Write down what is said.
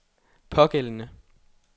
pågældende